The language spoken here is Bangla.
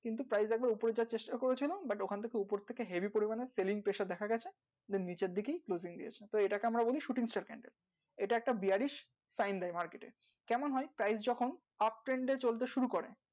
কিন্তু price একবার উপরে যাওয়ার চেষ্টা করে ছিল but ওখান থেকে উপর থেকে heavy পরিমানে sealing pressure দেখা গেছে then নিচের দিকেই clothing দিয়েছে তো এটাকে আমরা বলি shooting star candle এটা একটা bearish sign দেয় market এ কেমন হয় price যখন uptrend এ চলতে শুরু করে